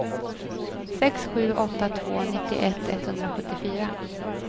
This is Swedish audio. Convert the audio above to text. sex sju åtta två nittioett etthundrasjuttiofyra